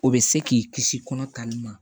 O bɛ se k'i kisi kɔnɔ tan ni ma